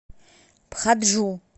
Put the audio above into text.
пхаджу